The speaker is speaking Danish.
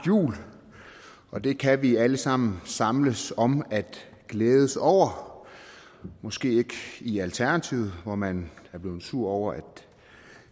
jul og det kan vi alle sammen samles om at glædes over måske ikke i alternativet hvor man er blevet sur over at